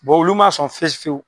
Bɔ olu ma sɔn fiyefiyewu.